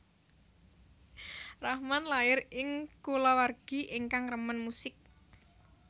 Rahman lair ing kulawargi ingkang remen musik